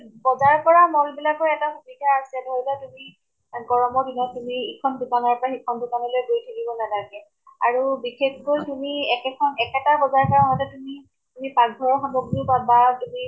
বজাৰ কৰা mall বিলাকৰ এটা সুবিধা আছে, ধৰি লোৱা তুমি, গৰম ৰ দিনত তুমি ইখন দোকান ৰ পৰা সিখন দোকানলৈ গৈ থাকিব নালাগে । আৰু বিশেষকৈ তুমি একেখন, একেটা বজাৰ পৰা আহোতে তুমি, তুমি পাকঘৰৰ সামগ্ৰীও পাবা, তুমি